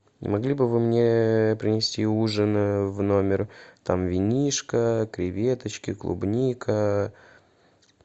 не могли бы вы мне принести ужин в номер там винишко креветочки клубника